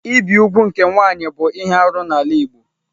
Ibi úgwù nke nwanyị bụ ihe arụ n'ala Igbo.